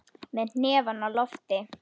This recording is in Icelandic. Með hnefann á lofti.